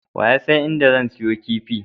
Waye yasan inda zan siyo kifi?